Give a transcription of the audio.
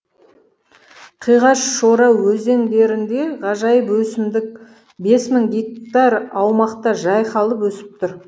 қиғаш шора өзендерінде ғажайып өсімдік бес мың гектар аумақта жайқалып өсіп тұр